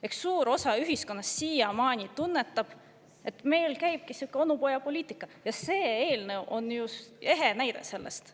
Eks suur osa ühiskonnast siiamaani tunnetab, et meil käibki sihuke onupojapoliitika, ja see eelnõu on ehe näide sellest.